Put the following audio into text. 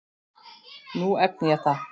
Nú efni ég það.